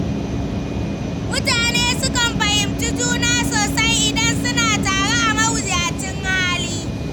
Mutane sukan fahimci juna sosai idan suna tare a mawuyacin hali.